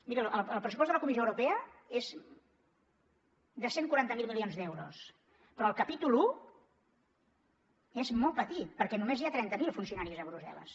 miri el pressupost de la comissió europea és de cent i quaranta miler milions d’euros però el capítol un és molt petit perquè només hi ha trenta mil funcionaris a brussel·les